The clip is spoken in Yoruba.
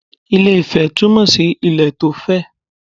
Ilé - ifẹ̀ túmọ̀ sí ilẹ̀ tó fẹ̀